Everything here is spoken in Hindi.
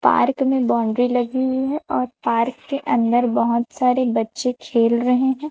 पार्क में बाउंड्री लगी हुई है और पार्क में अंदर बहोत सारे बच्चे खेल रहे हैं।